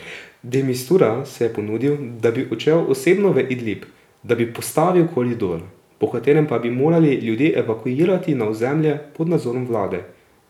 De Mistura se je ponudil, da bi odšel osebno v Idlib, da bi vzpostavil koridor, po katerem pa bi morali ljudi evakuirati na ozemlje pod nadzorom vlade.